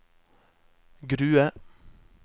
Grue